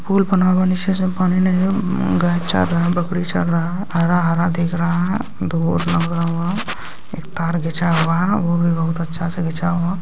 पुल बना हुआ है नीचे से पानी नहीं है गाय चर रहा है बकरी चर रहा है हरा-हरा दिख रहा है एक तार घीचा हुआ है वो भी बहुत अच्छा से घीचा हुआ।